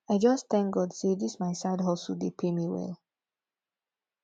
i just thank god say dis my side hustle dey pay me well